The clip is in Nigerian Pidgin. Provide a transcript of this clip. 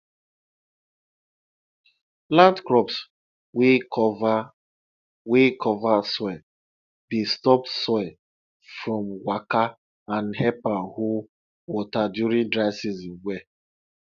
plant crops wey cover wey cover soil dey stop soil from waka and help am hold water during dry season well